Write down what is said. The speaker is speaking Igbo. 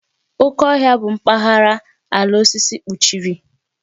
Oké Ọhịa bụ mpaghara ala osisi kpuchiri.